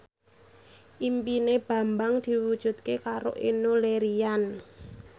impine Bambang diwujudke karo Enno Lerian